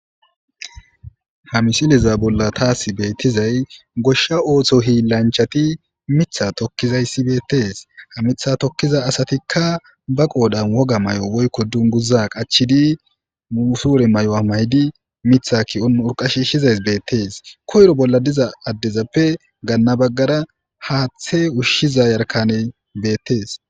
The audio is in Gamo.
Ha misileza bolla taasi beettizay goshsha ootho hiilanchati mitha tokkizayssi beettees ha mitha tokkiza asatikka ba qoodan woga may'o woykko dunguza qachidi muusuure may'o'a maydi mitha kiyon urqashiishizays beettees koyro bolla diza addezappe gaanna baggara haaththe ushshiza yarkane beettees.